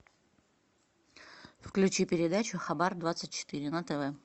включи передачу хабар двадцать четыре на тв